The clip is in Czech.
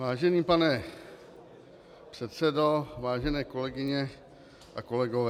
Vážený pane předsedo, vážené kolegyně a kolegové.